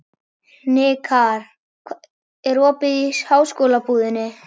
Hnikarr, er opið í Háskólabúðinni?